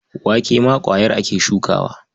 Wake ma ƙwayar ake shukawa.